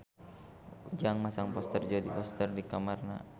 Ujang masang poster Jodie Foster di kamarna